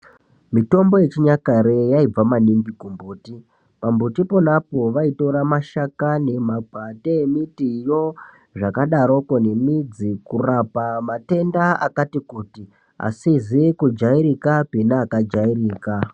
Mitombo yechinyakare yaibva maningi kumbuti , pambuti ponapo vaitora mashakani ,makwati emitiyo zvakadaroko nemidzi kurapa matenda akati kuti asizi kujairikapi neakajairika.